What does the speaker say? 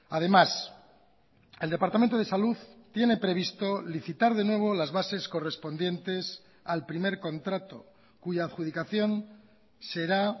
además el departamento de salud tiene previsto licitar de nuevo las bases correspondientes al primer contrato cuya adjudicación será